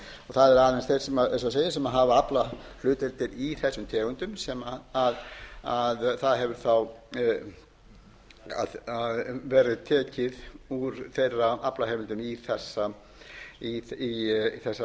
það eru aðeins þeir eins og ég segi sem hafa aflahlutdeildir í þessum tegundum sem það hefur verið tekið úr þeirra aflaheimildum í þessar aðgerðir en ekki